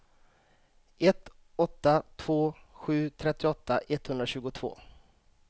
ett åtta två sju trettioåtta etthundratjugotvå